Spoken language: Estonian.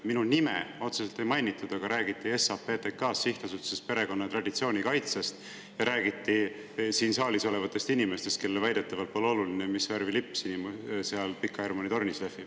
Minu nime otseselt ei mainitud, aga räägiti SAPTK-st, Sihtasutusest Perekonna ja Traditsiooni Kaitseks ja räägiti siin saalis olevatest inimestest, kellele väidetavalt pole oluline, mis värvi lipp seal Pika Hermanni tornis lehvib.